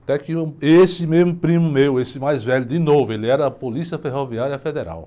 Até que eu, esse mesmo primo meu, esse mais velho, de novo, ele era Polícia Ferroviária Federal.